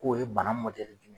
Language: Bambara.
K'o ye bana .